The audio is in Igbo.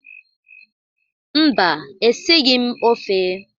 Mba, esighị m ofe